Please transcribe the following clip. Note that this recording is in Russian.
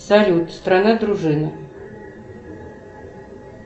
салют страна дружина